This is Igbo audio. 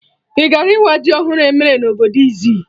Ị gara ịwa ji ọhụrụ emere na obodo Izzi?